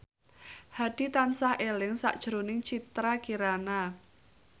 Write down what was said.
Hadi tansah eling sakjroning Citra Kirana